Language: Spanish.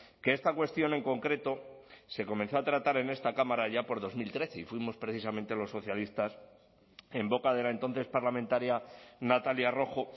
que esta cuestión en concreto se comenzó a tratar en esta cámara allá por dos mil trece y fuimos precisamente los socialistas en boca de la entonces parlamentaria natalia rojo